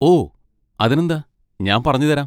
ഓ, അതിനെന്താ, ഞാൻ പറഞ്ഞുതരാം.